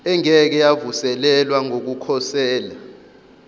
engeke yavuselelwa yokukhosela